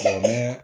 Lamu